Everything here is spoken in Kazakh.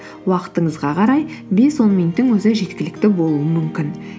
уақытыңызға қарай бес он минуттың өзі жеткілікті болуы мүмкін